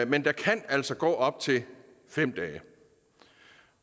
men der kan altså gå op til fem dage